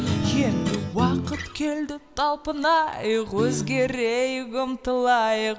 енді уақыт келді талпынайық өзгерейік ұмтылайық